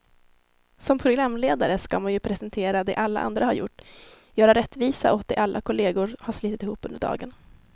Som programledare ska man ju presentera det alla andra har gjort, göra rättvisa åt det alla kollegor har slitit ihop under dagen.